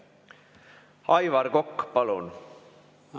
Aivar Kokk, palun!